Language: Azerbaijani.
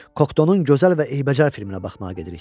Koktonun gözəl və eybəcər filminə baxmağa gedirik.